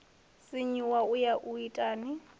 sinyuwa u ya u itani